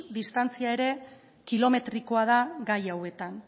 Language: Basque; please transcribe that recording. distantzia ere kilometrikoa da gai hauetan